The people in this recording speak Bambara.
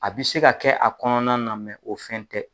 A bi se ka kɛ o kɔnɔna na o fɛn tɛ.